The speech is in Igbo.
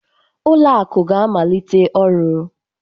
Ụlọ akụ ga-amalite ọrụ